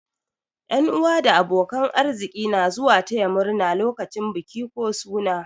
Yan'uwa da abokan arziki na zuwa taya murna lokacin biki ko suna.